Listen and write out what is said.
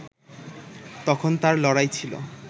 তখন তার লড়াই ছিল